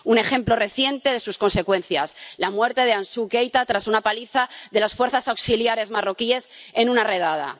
Un ejemplo reciente de sus consecuencias la muerte de Ansou Keita tras una paliza de las Fuerzas Auxiliares marroquíes en una redada.